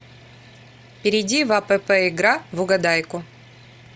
перейди в апп игра в угадайку